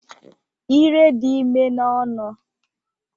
Ire dị ime n'ọnụ